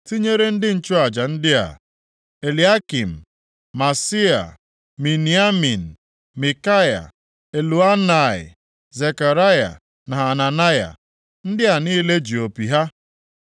tinyere ndị nchụaja ndị a: Eliakịm, Maaseia, Miniamin, Mikaya, Elioenai, Zekaraya na Hananaya. Ndị a niile ji opi ha.